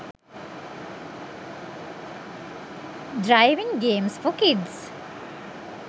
driving games for kids